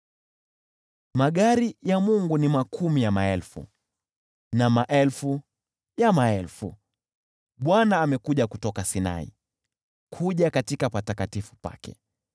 Magari ya Mungu ni makumi ya maelfu, na maelfu ya maelfu; Bwana amekuja kutoka Sinai hadi katika patakatifu pake.